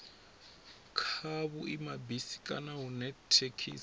kha vhuimabisi kana hune thekhisi